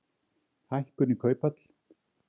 Hækkun í kauphöll